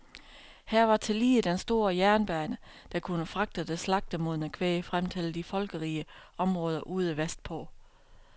Her var tillige den store jernbane, der kunne fragte det slagtemodne kvæg frem til de folkerige områder ude vestpå.